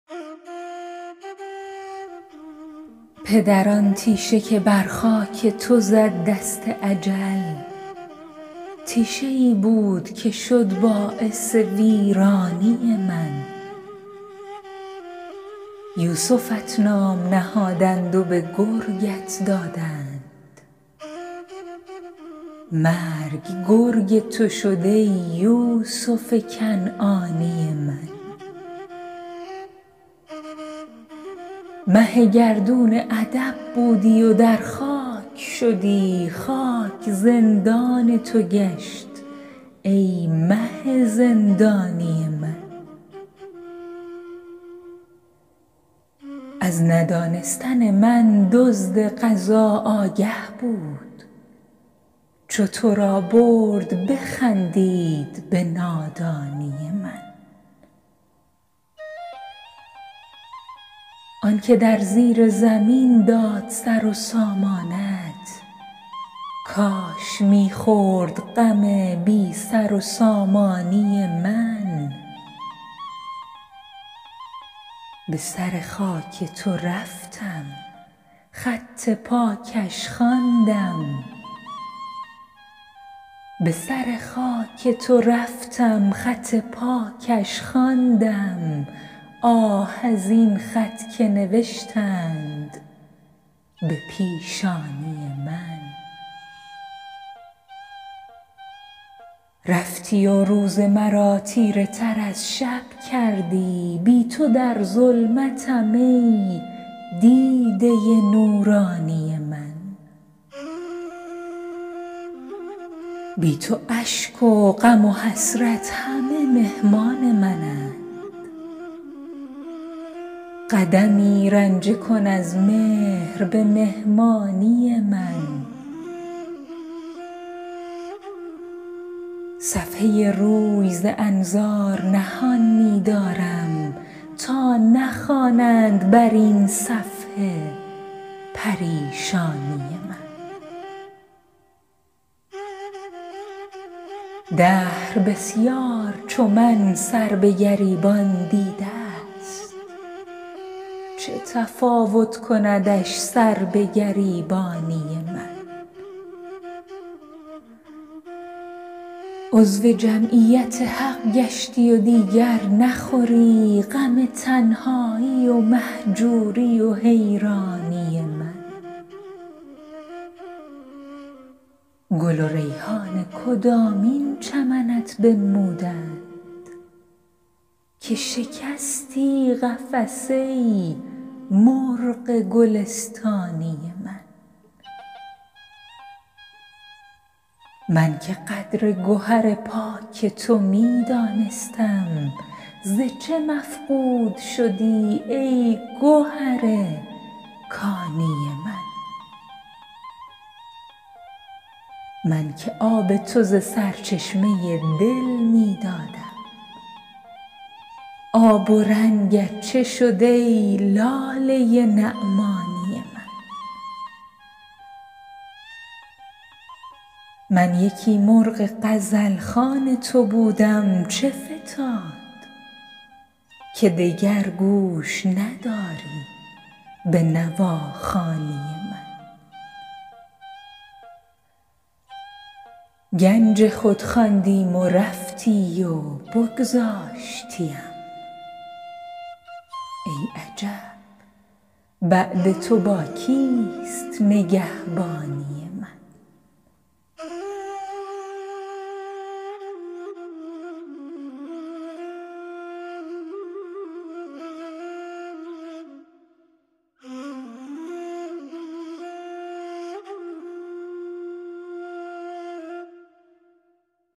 پدر آن تیشه که بر خاک تو زد دست اجل تیشه ای بود که شد باعث ویرانی من یوسفت نام نهادند و به گرگت دادند مرگ گرگ تو شد ای یوسف کنعانی من مه گردون ادب بودی و در خاک شدی خاک زندان تو گشت ای مه زندانی من از ندانستن من دزد قضا آگه بود چو تو را برد بخندید به نادانی من آن که در زیر زمین داد سر و سامانت کاش می خورد غم بی سر و سامانی من به سر خاک تو رفتم خط پاکش خواندم آه از این خط که نوشتند به پیشانی من رفتی و روز مرا تیره تر از شب کردی بی تو در ظلمتم ای دیده نورانی من بی تو اشک و غم و حسرت همه مهمان منند قدمی رنجه کن از مهر به مهمانی من صفحه روی ز انظار نهان می دارم تا نخوانند بر این صفحه پریشانی من دهر بسیار چو من سربه گریبان دیده است چه تفاوت کندش سربه گریبانی من عضو جمعیت حق گشتی و دیگر نخوری غم تنهایی و مهجوری و حیرانی من گل و ریحان کدامین چمنت بنمودند که شکستی قفس ای مرغ گلستانی من من که قدر گهر پاک تو می دانستم ز چه مفقود شدی ای گهر کانی من من که آب تو ز سرچشمه دل می دادم آب و رنگت چه شد ای لاله نعمانی من من یکی مرغ غزل خوان تو بودم چه فتاد که دگر گوش نداری به نواخوانی من گنج خود خواندیم و رفتی و بگذاشتیم ای عجب بعد تو با کیست نگهبانی من